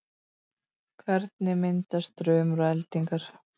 hvernig myndast þrumur og eldingar